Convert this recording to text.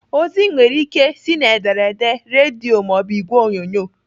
Ozi nwere ike ị si n'ederede, redio maọbụ igwe onyonyo.